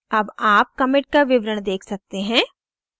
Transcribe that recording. अब आप commit का विवरण देख सकते हैं